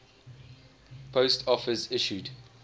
post office issued